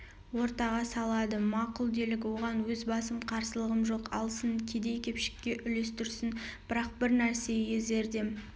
ортаға салады мақұл делік оған өз басым қарсылығым жоқ алсын кедей-кепшікке үлестірсін бірақ бір нәрсеге зердем